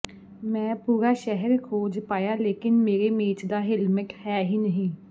ਮੈਂ ਪੂਰਾ ਸ਼ਹਿਰ ਖੋਜ ਪਾਇਆ ਲੇਕਿਨ ਮੇਰੇ ਮੇਚ ਦਾ ਹੇਲਮੇਟ ਹਾਂ ਹੀ ਨਹੀਂ